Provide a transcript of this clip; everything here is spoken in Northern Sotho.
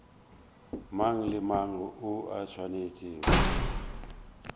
mang le mang o swanetše